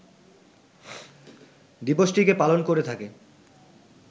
দিবসটিকে পালন করে থাকে